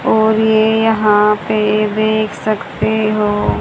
और ये यहां पे देख सकते हों--